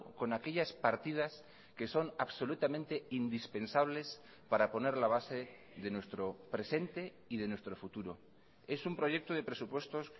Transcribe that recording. con aquellas partidas que son absolutamente indispensables para poner la base de nuestro presente y de nuestro futuro es un proyecto de presupuestos